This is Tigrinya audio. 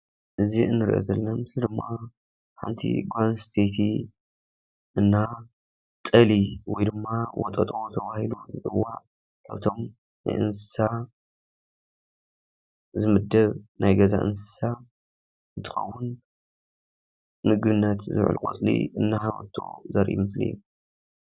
እዚ እንሪኦ ምስሊ ድማ ሓንቲ ጓል ኣነስተይቲ እና ጤሊ ወይ ድማ ወጠጦ ተባሂሉ ዝፅዋዕ ካብቶም ናይ እንስሳ ዝምደብ ናይ ገዛ እንስሳ እንትኸውን ንምግብነት ዝውዕል ቆፅሊ እናሃበቶ ዘርኢ ምስሊ እዩ፡፡